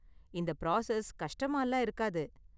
இந்த பிராசஸ் கஷ்டமாலாம் இருக்காது.